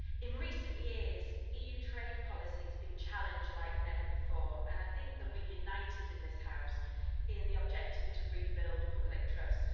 In recent years EU trade policy has been challenged like never before, and I think that we are united in this House in the objective to rebuild public trust.